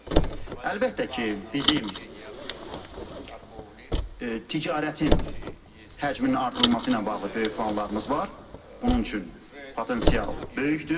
Əlbəttə ki, bizim ticarətin həcminin artırılması ilə bağlı böyük planlarımız var, bunun üçün potensial böyükdür.